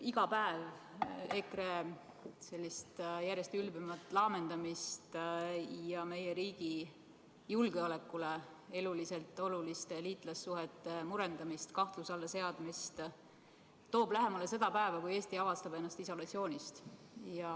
Iga päev EKRE järjest ülbemat laamendamist ja meie riigi julgeolekule eluliselt oluliste liitlassuhete murendamist ja kahtluse alla seadmist toob lähemale seda päeva, kui Eesti avastab ennast isolatsioonist.